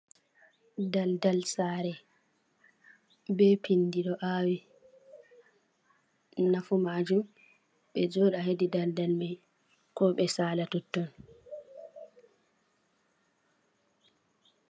Daldal sare be pindi ɗo awi. Nafu maajum, ɓe joɗa hedi daldal mai, ko ɓe sala totton.